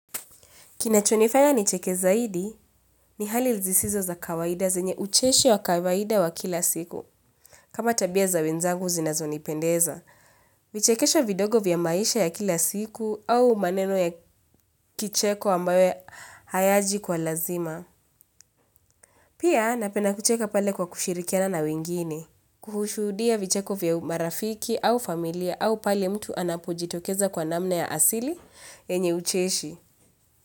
Kinachonifanya nicheke zaidi ni hali zisizo za kawaida zenye ucheshi wa kawaida wa kila siku. Kama tabia za wenzangu zinazo nipendeza. Vichekesho vidogo vya maisha ya kila siku au maneno ya kicheko ambayo hayaji kwa lazima. Pia napenda kucheka pale kwa kushirikiana na wingine. Kushuhudia vicheko vya marafiki au familia au pale mtu anapojitokeza kwa namna ya asili yenye ucheshi.